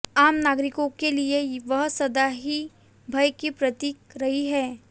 आम नागरिकों के लिए वह सदा ही भय की प्रतीक रही है